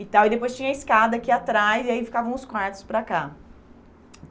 E tal e depois tinha a escada aqui atrás e aí ficavam os quartos para cá.